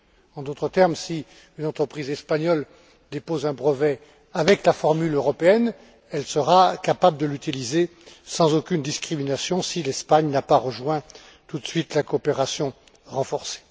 En d'autres termes, si une entreprise espagnole dépose un brevet avec la formule européenne, elle sera capable de l'utiliser sans aucune discrimination si l'Espagne n'a pas rejoint tout de suite la coopération renforcée.